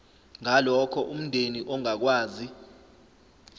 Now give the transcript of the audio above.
ngalokho umndeni ongakwazi